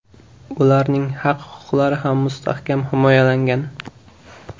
Ularning haq-huquqlari ham mustahkam himoyalangan.